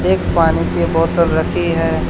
एक पानी की बोतल रखी है।